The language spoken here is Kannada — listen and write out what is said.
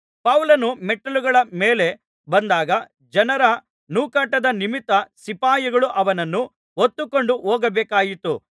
ಪೌಲನು ಮೆಟ್ಟಿಲುಗಳ ಮೇಲೆ ಬಂದಾಗ ಜನರ ನೂಕಾಟದ ನಿಮಿತ್ತ ಸಿಪಾಯಿಗಳು ಅವನನ್ನು ಹೊತ್ತುಕೊಂಡು ಹೋಗಬೇಕಾಯಿತು